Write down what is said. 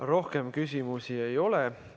Rohkem küsimusi ei ole.